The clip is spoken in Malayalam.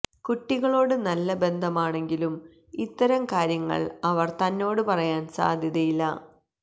കുട്ടികളോട് നല്ല ബന്ധമാണെങ്കിലും ഇത്തരം കാര്യങ്ങൾ അവർ തന്നോട് പറയാൻ സാധ്യതയില്ല